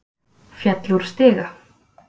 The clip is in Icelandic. Féll úr stiga